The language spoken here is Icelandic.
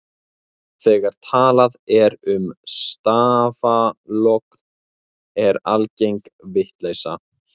þegar talað er um stafalogn er alger vindleysa